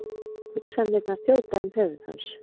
Hugsanirnar þjóta um höfuð hans.